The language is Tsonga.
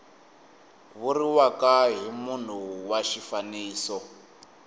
vuriwaka hi munhu wa xifaniso